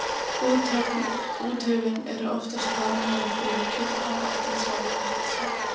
Úthöfin eru oftast talin vera þrjú, Kyrrahaf, Atlantshaf og Indlandshaf.